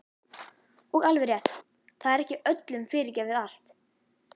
Og alveg rétt, það er ekki öllum fyrirgefið allt.